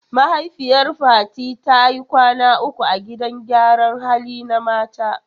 Mahaifiyar Fati ta yi kwana uku a gidan gyaran hali na mata.